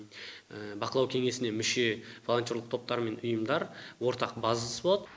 бақылау кеңесіне мүше волонтерлік топтар мен ұйымдар ортақ базасы болады